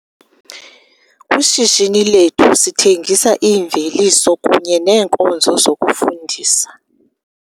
Kwishishini lethu sithengisa iimveliso kunye neenkonzo zokufundisa.